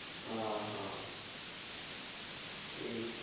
আহা, এই।